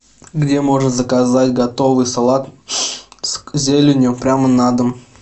где можно заказать готовый салат с зеленью прямо на дом